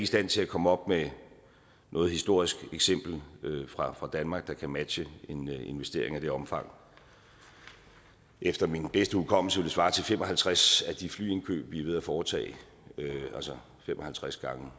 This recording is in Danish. stand til at komme op med noget historisk eksempel fra danmark der kan matche en investering af det omfang efter min bedste hukommelse vil det svare til fem og halvtreds af de flyindkøb vi er ved at foretage altså fem og halvtreds gange